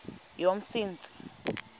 yomsintsi